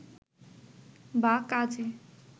বা কাজে